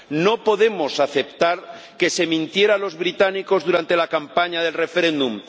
No podemos aceptar que se mintiera a los británicos durante la campaña del referéndum